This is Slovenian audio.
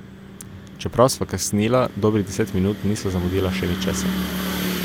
Čeprav sva kasnila dobrih deset minut, nisva zamudila še ničesar.